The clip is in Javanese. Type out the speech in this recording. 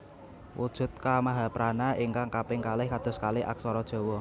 Wujud Ka mahaprana ingkang kaping kalih kados kalih aksara Jawa